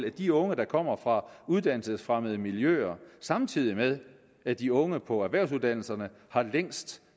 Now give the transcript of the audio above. af de unge der kommer fra uddannelsesfremmede miljøer samtidig med at de unge på erhvervsuddannelserne har længst